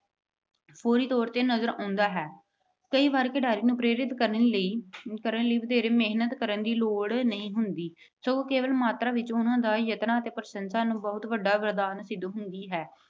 ਪੂਰੀ ਤੌਰ ਤੇ ਨਜਰ ਆਉਂਦਾ ਹੈ। ਕਈ ਵਾਰ ਖਿਡਾਰੀਆਂ ਨੂੰ ਪ੍ਰੇਰਿਤ ਕਰਨ ਲਈ ਅਹ ਕਰਨ ਲਈ ਵਧੇਰੇ ਮਿਹਨਤ ਕਰਨ ਦੀ ਲੋੜ ਨਹੀਂ ਹੁੰਦੀ ਸਗੋਂ ਕੇਵਲ ਮਾਤਰਾ ਵਿੱਚ ਉਹਨਾਂ ਦੇ ਯਤਨਾਂ ਅਤੇ ਪ੍ਰਸ਼ੰਸਾ ਬਹੁਤ ਵੱਡਾ ਵਰਦਾਨ ਸਿੱਧ ਹੁੰਦੀ ਹੈ।